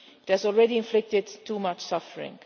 It has already inflicted too much suffering.